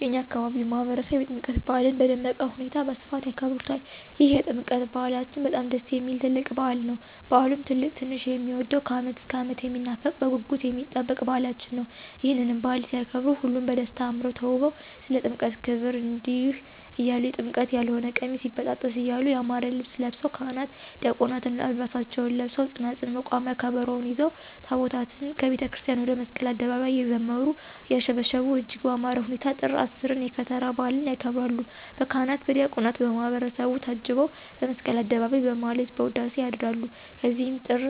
የእኛ አካባቢ ማህበረሰብ የጥምቀት በዓልን በደመቀ ሁኔታ በስፋት ያከብሩታል ይህ የጥምቀት በዓላችን በጣም ደስ የሚል ትልቅ በዓል ነዉ። በዓሉም ትልቅ ትንሹ የሚወደዉ ከዓመት እስከ ዓመት የሚናፈቅ በጉጉት የሚጠበቅ በዓላችን ነዉ። ይህንንም በዓል ሲያከብሩ ሁሉም በደስታ አምረዉ ተዉበዉ ስለ ጥምቀት ክብር እንዲህ እያሉ<የጥምቀት ያልሆነ ቀሚስ ይበጣጠስ> እያሉ ያማረ ልብስ ለብሰዉ ካህናት ዲያቆናትም ዓልባሳታቸዉን ለብሰዉ ፅናፅል፣ መቋሚያ፣ ከበሮዉን ይዘዉ ታቦታትን ከቤተክርስቲያን ወደ መስቀል አደባባይ እየዘመሩ; እያሸበሸቡ እጅግ በአማረ ሁኔታ ጥር 10ን የከተራ በዓልን ያከብራሉ። በካህናት በዲያቆናት በማህበረሰቡ ታጅበዉ በመስቀል አደባባይ በማህሌት በዉዳሴ ያድራሉ ከዚያም ጥር